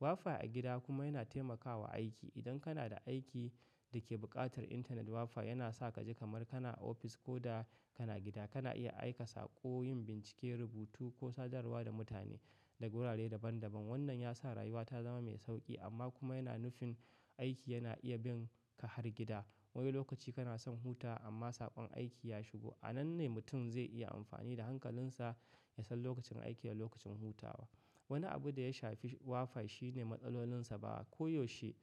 WiFi a gida kuma yana taimakawa aiki. Idan kana da aiki da ke buƙatar intanet WiFi yana sa ka ji kamar kana a ofis ko da kana gida. Kana iya aika sako, yin bincike, rubutu ko sadarwa da mutane daga wurare daban daban. Wannan ya sa rayuwa ta zama mai sauƙi amma kuma yana nufin aiki yana iya bin ka har gida. Wani lokaci kana son huta amma saƙon aiki ya shigo. A nan ne mutum zai iya amfani da hankalinsa ya san lokacin aiki da lokacin hutawa. Wani abu da ya shafi WiFi shine matsalolinsa. Ba koyaushe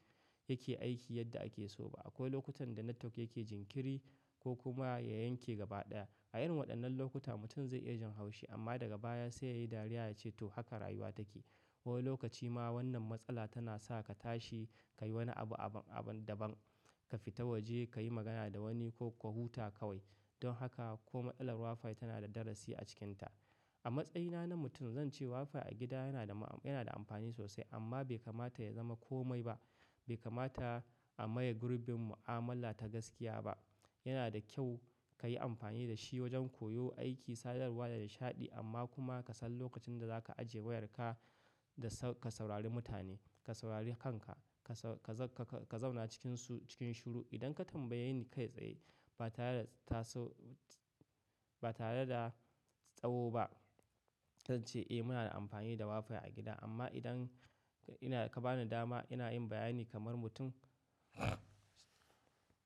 yake aiki yadda ake so ba. Akwai lokutan da network yake jinkiri ko kuma ya yanke gaba ɗaya. A irin waɗannan lokuta mutum zai iya jin haushi amma daga baya sai yayi dariya ya ce to haka rayuwa take. Wani lokaci ma wannan matsala tana sa ka tashi, ka yi wani abu, abun daban. Ka fita waje, ka yi magana da wani ko ka huta kawai. Don haka ko matsalar WiFi tana da darasi a cikinta. A matsayina na mutum zan ce WiFi a gida yana da ma-- yana da amfani sosai amma bai kamata ya zama komai ba. Bai kamata a maye gurbin mu'amala ta gaskiya ba. Yana da kyau ka yi amfani da shi wajen koyo, aiki, sadarwa da nishaɗi amma kuma ka san lokacin da za ka ajiye wayarka da ka saurari mutane. Ka saurari kanka, ka zauna cikin su cikin shiru idan ka tambayi kai tsaye ba tare da taso-- ba tare da tsayo ba. Zan ce eh muna da amfani da WiFi a gida amma idan ina ka bani dama ina yin bayani kamar mutum.